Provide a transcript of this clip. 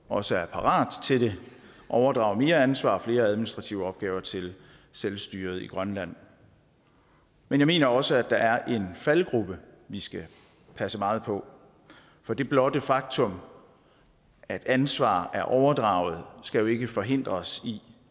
også er parat til det overdrager mere ansvar og flere administrative opgaver til selvstyret i grønland men jeg mener også at der er en faldgruppe vi skal passe meget på for det blotte faktum at ansvar er overdraget skal jo ikke forhindre os i